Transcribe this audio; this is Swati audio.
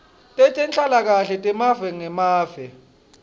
tetenhlalakahle temave ngemave